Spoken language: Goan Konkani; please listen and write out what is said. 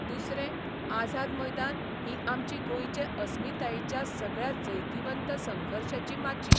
दुसरें आझाद मैदान ही आमची गोंयचे अस्मितायेच्या सगळ्या जैतवंत संघर्शाची माची.